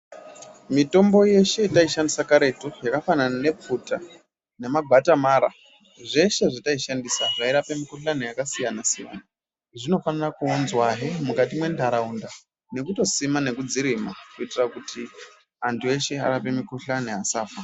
Mitombo yeshe yataishandisa karetu yakafanana nepfuta nemabhatamara zveshe zvataishandisa zvairape mikhuhlani yakasiyana siyana zvinogara kunzwahe mukati mwentaraunda nekutosima nekudzirima kuitira kuti antu eshe araoe mikhuhlani asafa.